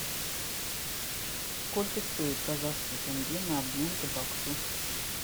сколько стоит казахский тенге на обмен к баксу